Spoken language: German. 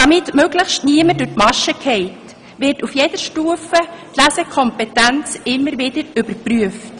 Damit möglichst niemand durch die Maschen fällt, wird die Lesekompetenz auf jeder Stufe immer wieder überprüft.